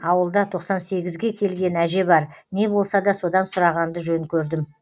ауылда тоқсан сегізге келген әже бар не болса да содан сұрағанды жөн көрдім